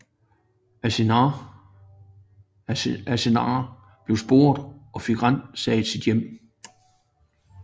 Assange blev sporet og fik ransaget sit hjem